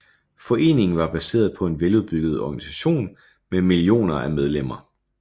Foreningen var baseret på en veludbygget organisation med millioner af medlemmer